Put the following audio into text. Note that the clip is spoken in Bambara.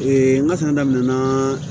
n ka fɛn daminɛna